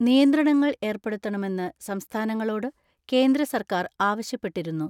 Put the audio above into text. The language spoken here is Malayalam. നിയന്ത്രണങ്ങൾ ഏർപ്പെടുത്തണമെന്ന് സംസ്ഥാനങ്ങളോട് കേന്ദ്ര സർക്കാർ ആവശ്യപ്പെട്ടിരുന്നു.